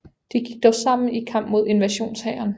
De gik dog sammen i kamp mod invasionshæren